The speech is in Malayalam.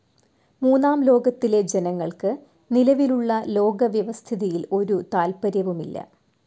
മൂന്നാം ലോകത്തിലെ ജനങ്ങൾക്ക് നിലവിലുള്ള ലോകവ്യവസ്ഥിതിയിൽ ഒരു താല്പര്യവുമില്ല.